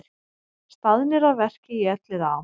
Staðnir að verki í Elliðaám